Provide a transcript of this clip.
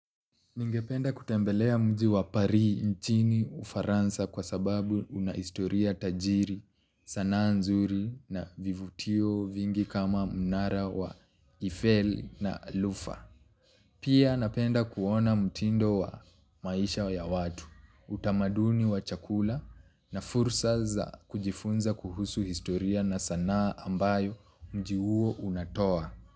Ningependa kutembelea mji wa Paris nchini ufaransa kwa sababu una historia tajiri, sanaa nzuri na vivutio vingi kama mnara wa Eiffel na Lufa. Pia napenda kuona mtindo wa maisha ya watu utamaduni wa chakula na fursa za kujifunza kuhusu historia na sanaa ambayo mji huo unatoa.